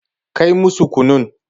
Kai musu kunun.